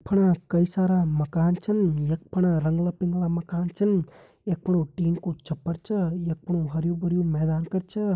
यख फणा कई सारा मकान छन यख फणा रंगला पिंगला मकान छन यख फणु टीन कु छप्पर छा यख फणु हरयूं भरयूं मैदान कर छा।